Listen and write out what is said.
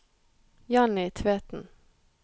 Janny Tveten